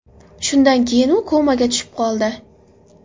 Shundan keyin u komaga tushib qoldi.